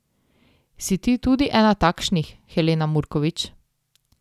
Si ti tudi ena takšnih, Helena Murkovič?